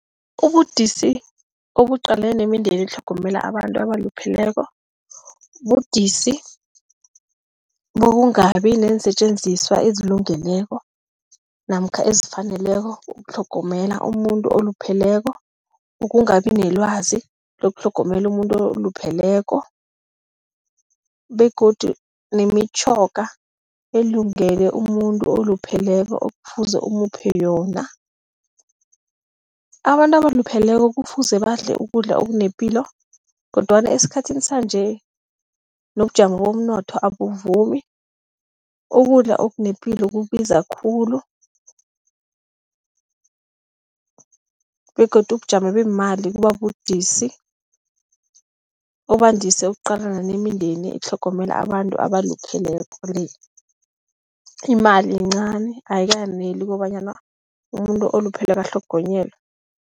Ubudisi obuqalene nemindeni etlhogomela abantu abalupheleko budisi bokungabi neensetjenziswa ezilungileko namkha ezifaneleko ukutlhogomela umuntu olupheleko. Ukungabi nelwazi lokutlhogomela umuntu olupheleko begodu nemitjhoga elungele umuntu olupheleko okufuze umuphe yona. Abantu abalupheleko kufuze badle ukudla okunepilo kodwana esikhathini sanje, nobujamo bomnotho abuvumi, ukudla okunepilo kubiza khulu begodu ubujamo beemali kuba budisi, obandise ukuqalana nemindeni etlhogomela abantu abalupheleko . Imali yincani, ayikaneli kobanyana umuntu olupheleko atlhogonyelwe.